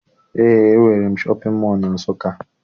Eé, e nwere shọpịn mọọ na Nsụka.